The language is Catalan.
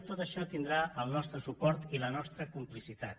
tot això tindrà el nostre suport i la nostra complicitat